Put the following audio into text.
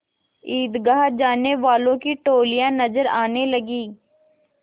ईदगाह जाने वालों की टोलियाँ नजर आने लगीं